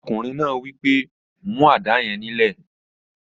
Ọkùnrin náà wí pé, "mú àdá yẹn nílẹ̀!"